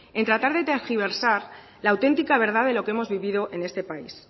en tratar de tergiversar la auténtica verdad de lo que hemos vivido en este país